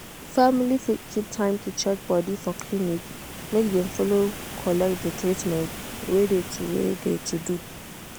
family fit keep time to check body for clinic make dem follow collect de treatment wey de to wey de to do.